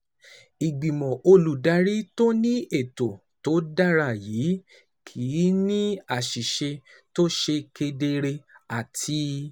Ìgbìmọ̀ olùdarí tó ní ètò tó dára yẹ kí ó ní àṣẹ tó ṣe kedere àti